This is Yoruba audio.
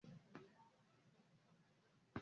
Ṣe wọn n tá mayonnaise?